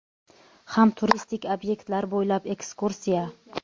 ham turistik obyektlar bo‘ylab ekskursiya.